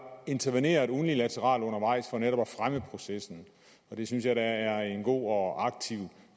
interveneret unilateralt undervejs for netop at fremme processen det synes jeg da er en god og aktiv